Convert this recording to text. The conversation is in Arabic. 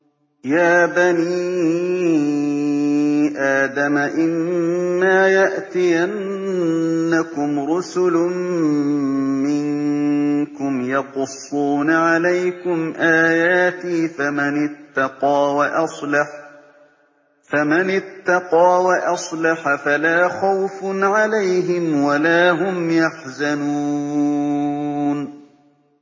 يَا بَنِي آدَمَ إِمَّا يَأْتِيَنَّكُمْ رُسُلٌ مِّنكُمْ يَقُصُّونَ عَلَيْكُمْ آيَاتِي ۙ فَمَنِ اتَّقَىٰ وَأَصْلَحَ فَلَا خَوْفٌ عَلَيْهِمْ وَلَا هُمْ يَحْزَنُونَ